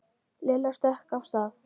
Lilla stökk af stað.